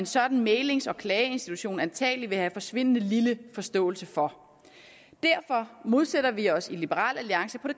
sådan en mæglings og klageinstitution antagelig vil have forsvindende lille forståelse for derfor modsætter vi os i liberal alliance på